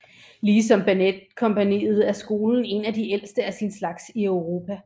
Ligesom balletkompagniet er skolen en af de ældste af sin slags i Europa